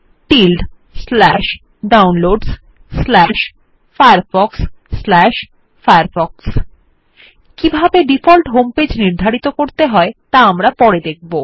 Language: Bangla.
Downloadsfirefoxfirefox কিভাবে ডিফল্ট হোমপেজ নির্ধারিত করতে হয় ত়া আমরা পরে দেখব